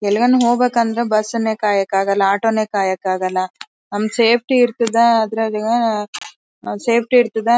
ಎಲ್ಲಿಗ್ನ್ನು ಹೋಗ್ಬೇಕಂದ್ರೆ ಬಸ್ ನ್ನೇ ಕಾಯಕ್ಕಾಗಲ್ಲ ಆಟೋ ನ್ನೇ ಕಾಯಕ್ಕಾಗಲ್ಲ ನಮ್ಮ್ ಸೇಫ್ಟಿ ಇರ್ತಿದ ಅದರಾಗೆ ನ ಸೇಫ್ಟಿ ಇಡ್ತಿದ್ದ--